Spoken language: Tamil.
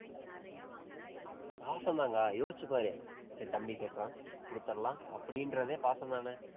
பாசம்தான்கா. யோசிச்சு பாரு, சரி தம்பி கேட்கிறான், கொடுத்திடலாம். அப்படின்றதே பாசம்தானே